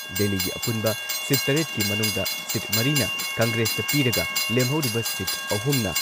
ꯗꯦꯜꯂꯤꯒꯤ ꯑꯄꯨꯟꯕ ꯁꯤꯠ ꯇꯔꯦꯠꯀꯤ ꯃꯅꯨꯡꯗ ꯁꯤꯠ ꯃꯔꯤꯅ ꯀꯪꯒ꯭ꯔꯦꯁꯇ ꯄꯤꯔꯒ ꯂꯦꯝꯍꯧꯔꯤꯕ ꯁꯤꯠ ꯑꯍꯨꯝꯅ